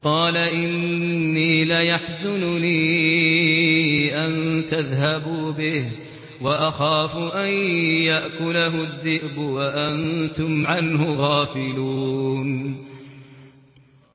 قَالَ إِنِّي لَيَحْزُنُنِي أَن تَذْهَبُوا بِهِ وَأَخَافُ أَن يَأْكُلَهُ الذِّئْبُ وَأَنتُمْ عَنْهُ غَافِلُونَ